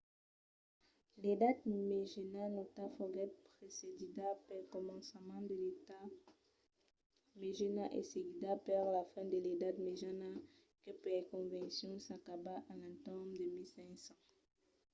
l'edat mejana nauta foguèt precedida pel començament de l'edat mejana e seguida per la fin de l'edat mejana que per convencion s'acaba a l'entorn de 1500